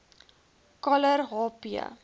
coller h p